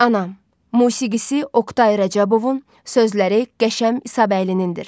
Anam, musiqisi Oqtay Rəcəbovun, sözləri Qəşəm İsabəylinindir.